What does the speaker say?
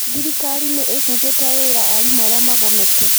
Thirikari nĩ ĩbutĩte wira aarimũ arĩa magomete.